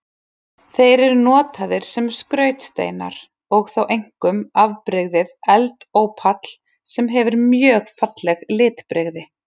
Þeir eru notaðir sem skrautsteinar og þá einkum afbrigðið eldópall sem hefur mjög falleg litbrigði.